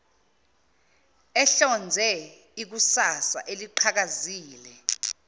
ehlonze ikusasa eliqhakazile